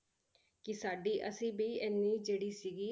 ਕਿ ਸਾਡੀ ਅਸੀਂ ਵੀ ਇੰਨੀ ਜਿਹੜੀ ਸੀਗੀ